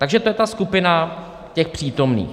Takže to je ta skupina těch přítomných.